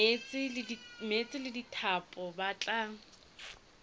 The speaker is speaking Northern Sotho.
meetse le dithapo ba tla